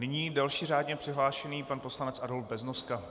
Nyní další řádně přihlášený pan poslanec Adolf Beznoska.